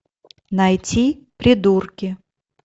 найти придурки